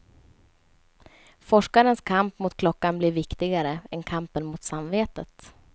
Forskarens kamp mot klockan blir viktigare än kampen mot samvetet.